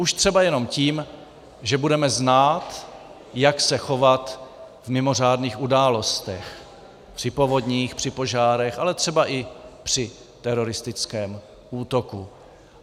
Už třeba jenom tím, že budeme znát, jak se chovat v mimořádných událostech - při povodních, při požárech, ale třeba i při teroristickém útoku.